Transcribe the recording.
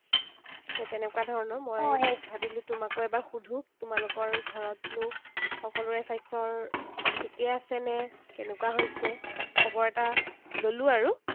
সেই তেনেকুৱা ধৰণৰ। মই ভাবিলো তোমাকো এবাৰ সুধো। তোমালোকৰ ঘৰতনো সকলোৰে স্বাস্থ্যৰ ঠিকেই আছে নে কেনেকুৱা হৈছে। খবৰ এটা ললো আৰু।